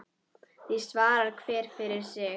Því svarar hver fyrir sig.